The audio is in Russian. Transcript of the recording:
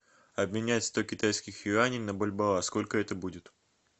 обменять сто китайских юаней на бальбоа сколько это будет